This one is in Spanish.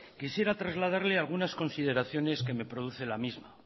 quisiera trasladarle algunas consideraciones que me produce la misma